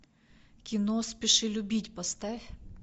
кино спеши любить поставь